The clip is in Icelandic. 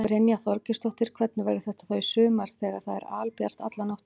Brynja Þorgeirsdóttir: Hvernig verður þetta þá í sumar þegar það er albjart alla nóttina?